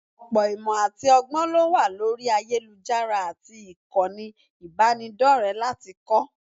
Ọ̀pọ̀ ìmọ̀ àti ọgbọ́n ló wà lórí ayélujára àti ìkànnì ìbánidọ́rẹ̀ẹ́ láti kọ́